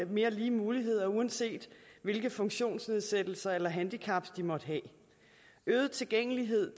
mere lige muligheder uanset hvilke funktionsnedsættelser eller handicap de måtte have øget tilgængelighed